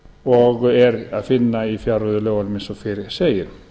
og er að finna í fjárreiðulögunum eins og fyrr segir